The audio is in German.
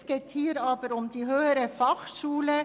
Es geht hier jedoch um die HF.